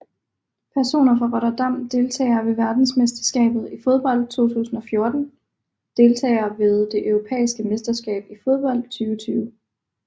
Personer fra Rotterdam Deltagere ved verdensmesterskabet i fodbold 2014 Deltagere ved det europæiske mesterskab i fodbold 2020